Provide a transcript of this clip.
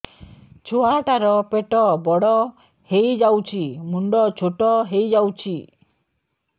ଛୁଆ ଟା ର ପେଟ ବଡ ହେଇଯାଉଛି ମୁଣ୍ଡ ଛୋଟ ହେଇଯାଉଛି